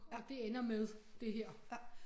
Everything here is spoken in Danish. Og det ender med det her